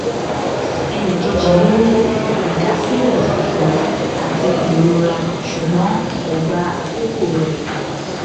ẹnìkejì mi ní ìdásílẹ funfun àti ìrora ṣùgbọn kò gba àkókò rẹ